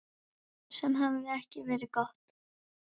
Sem hefði ekki verið gott.